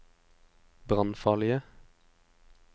brannfarlige